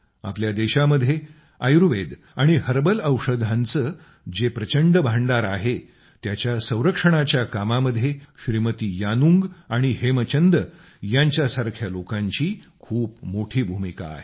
आपल्या देशामध्ये आयुर्वेद आणि हर्बल औषधांचे जे प्रचंड भांडार आहे त्याच्या संरक्षणाच्या कामामध्ये श्रीमती यानुंग आणि हेमचंद यांच्यासारख्या लोकांची खूप मोठी भूमिका आहे